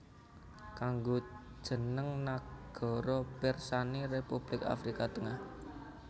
Kanggo jeneng nagara pirsani Republik Afrika Tengah